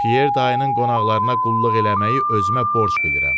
Pyer dayının qonaqlarına qulluq eləməyi özümə borc bilirəm.